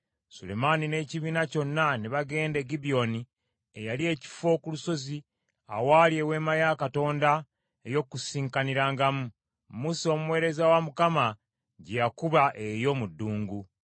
Sulemaani n’ekibiina kyonna ne bagenda e Gibyoni eyali ekifo ku lusozi awaali Eweema ya Katonda ey’Okukuŋŋaanirangamu, Musa omuweereza wa Mukama gye yakuba, eyo mu ddungu.